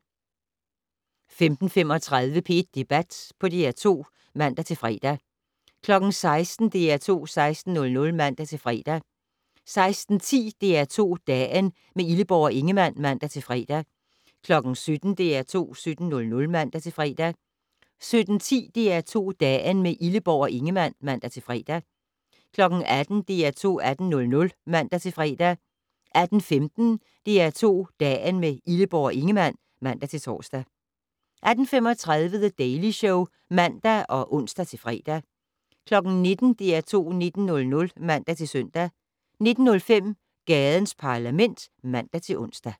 15:35: P1 Debat på DR2 (man-fre) 16:00: DR2 16:00 (man-fre) 16:10: DR2 Dagen - med Illeborg og Ingemann (man-fre) 17:00: DR2 17:00 (man-fre) 17:10: DR2 Dagen - med Illeborg og Ingemann (man-fre) 18:00: DR2 18:00 (man-fre) 18:15: DR2 Dagen - med Illeborg og Ingemann (man-tor) 18:35: The Daily Show (man og ons-fre) 19:00: DR2 19:00 (man-søn) 19:05: Gadens Parlament (man-ons)